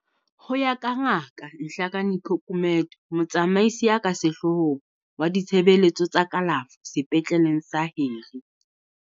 Ho ya ka Ngaka Nhlakanipho Gumede, Motsamaisi ya ka Sehloohong wa Ditshebeletso tsa Kalafo Sepetleleng sa Harry.